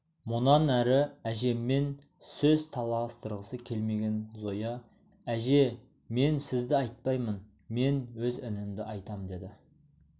мұнан әрі әжеммен сөз таластырғысы келмеген зоя әже мен сізді айтпаймын мен өз інімді айтам деді